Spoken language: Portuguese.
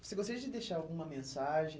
Você gostaria de deixar alguma mensagem?